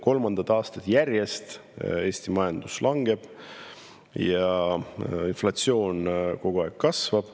Kolmandat aastat järjest Eesti majandus langeb ja inflatsioon kogu aeg kasvab.